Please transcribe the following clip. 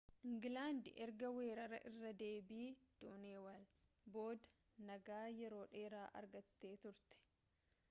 ingilaandi erga weerara irra deebii daaneelaw booda nagaa yeroo dheeraa argattee turte